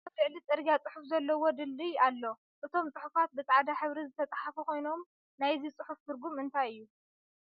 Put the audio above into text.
ኣብ ልዕሊ ፅርግያ ፅሑፍ ዘለዎ ድልድል ኣሎ ። እቶም ፅሑፋት ብ ፃዕዳ ሕብሪ ዝተፀሓፉ ኮይኖም ንይዚ ፅሑፍ ትርጉም እንታይ እዩ ?